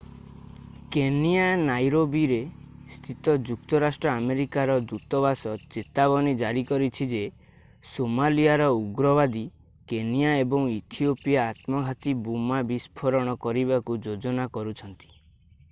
Kenya ନାଇରୋବିରେ ସ୍ଥିତ ଯୁକ୍ତରାଷ୍ଟ୍ର ଆମେରିକାର ଦୂତବାସ ଚେତାବନୀ ଜାରି କରିଛି ଯେ ସୋମାଲିଆର ଉଗ୍ରବାଦୀ କେନିଆ ଏବଂ ଇଥିଓପିଆରେ ଆତ୍ମଘାତୀ ବୋମା ବିସ୍ଫୋରଣ କରିବାକୁ ଯୋଜନା କରୁଛନ୍ତି